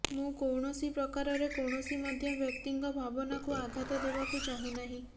ମୁଁ କୌଣସି ପ୍ରକାରରେ କୌଣସି ମଧ୍ୟ ବ୍ୟକ୍ତିଙ୍କ ଭାବନାକୁ ଆଘାତ ଦେବାକୁ ଚାହୁଁନାହିଁ